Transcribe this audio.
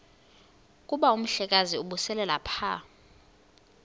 kuba umhlekazi ubeselelapha